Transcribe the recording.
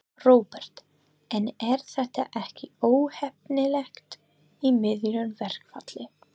Róbert: En er þetta ekki óheppilegt í miðju verkfalli?